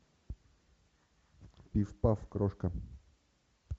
пиф паф крошка